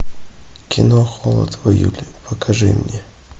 кино холод в июле покажи мне